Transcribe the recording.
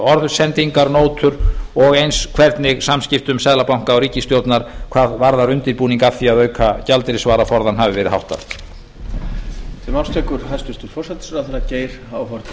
orðsendingar nótur og eins hvernig samskiptum seðlabanka og ríkisstjórnar hvað varðar undirbúning að því að auka gjaldeyrisvaraforðann hafi verið háttað